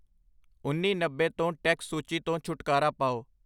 ਉਨੀ ਨੱਬੇ ਤੋਂ ਟੈਕਸ ਸੂਚੀ ਤੋਂ ਛੁਟਕਾਰਾ ਪਾਓ